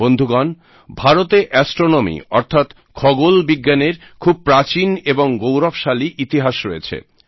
বন্ধুগণ ভারতে অ্যাস্ট্রোনমি অর্থাৎ খগোলবিজ্ঞানের খুব প্রাচীন এবং গৌরবশালী ইতিহাস রয়েছে